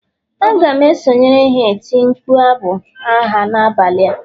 A ga m esonyere ha eti mkpu abụ agha n'abalị a